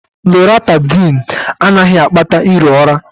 Loratydn anaghị akpata iro ụra